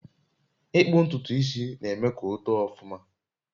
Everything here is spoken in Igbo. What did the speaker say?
Ịkpu ntutu isi na-eme ka o too ọfụma